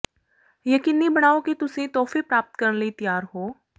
ਯਕੀਨੀ ਬਣਾਓ ਕਿ ਤੁਸੀਂ ਤੋਹਫ਼ੇ ਪ੍ਰਾਪਤ ਕਰਨ ਲਈ ਤਿਆਰ ਹੋ